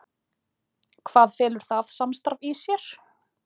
Hvað felur það samstarf í sér?